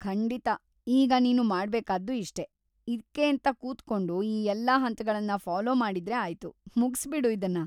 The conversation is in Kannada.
ಖಂಡಿತ! ಈಗ ನೀನು ಮಾಡ್ಬೇಕಾದ್ದು ಇಷ್ಟೇ, ಇದ್ಕೇಂತ ಕೂತ್ಕೊಂಡು ಈ ಎಲ್ಲ ಹಂತಗಳನ್ನ ಫಾಲೋ ಮಾಡಿದ್ರೆ ಆಯ್ತು, ಮುಗ್ಸಿ ಬಿಡು ಇದ್ನ.